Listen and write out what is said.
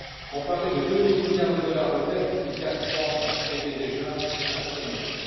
On parlait de deux mille milliards de dollars de pertes il y a trois mois, ce qui était déjà astronomique.